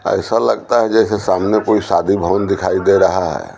ऐसा लगता है जैसे सामने कोई शादी भवन दिखाई दे रहा हैं।